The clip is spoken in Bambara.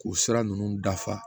K'u sira ninnu dafa